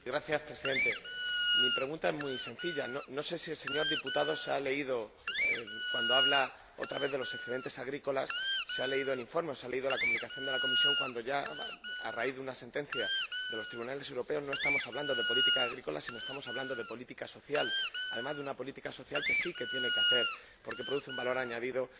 Señor Presidente, mi pregunta es muy sencilla no sé si el señor diputado, cuando habla otra vez de los excedentes agrícolas, se ha leído el informe o se ha leído el documento de la Comisión, pues ya, a raíz de una sentencia de los tribunales europeos, no estamos hablando de política agrícola sino que estamos hablando de política social, y además de una política social que sí que tienen que hacer, porque produce un valor añadido,